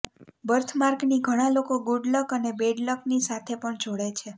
birth માર્કની ઘણા લોકો ગુડ લક અને બેડ લક ની સાથે પણ જોડે છે